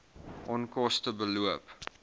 onkoste beloop